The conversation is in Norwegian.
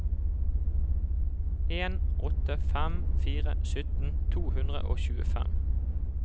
en åtte fem fire sytten to hundre og tjuefem